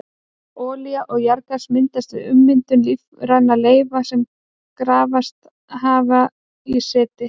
Olía og jarðgas myndast við ummyndun lífrænna leifa sem grafist hafa í seti.